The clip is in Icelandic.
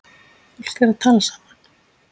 Fólk er að tala saman.